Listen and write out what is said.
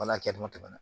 Wala kɛ dɔnni na